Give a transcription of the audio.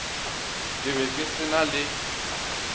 ka be se na le